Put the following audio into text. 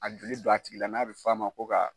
A joli don a tigi la n'a bɛ fɔ a ma ko ka